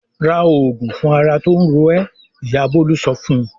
"Ra òògùn fún ara tó ń ro ẹ́!" Ìyá Bólú sọ fún un.